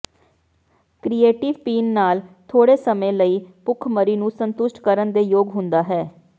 ਕ੍ਰੀਰੇਟਿਵ ਪੀਣ ਨਾਲ ਥੋੜੇ ਸਮੇਂ ਲਈ ਭੁੱਖਮਰੀ ਨੂੰ ਸੰਤੁਸ਼ਟ ਕਰਨ ਦੇ ਯੋਗ ਹੁੰਦਾ ਹੈ